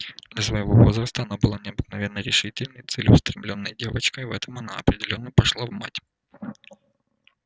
для своего возраста она была необыкновенно решительной и целеустремлённой девочкой в этом она определённо пошла в мать